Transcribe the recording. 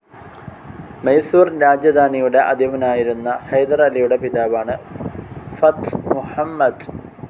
മൈസൂർ രാജധാനിയുടെ അധിപനായിരുന്ന ഹൈദർ അലിയുടെ പിതാവാണ് ഫാറ്റ്‌ മുഹമ്മദ്.